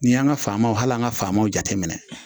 Ni y'an ka faamaw hal'an ka faamaw jateminɛ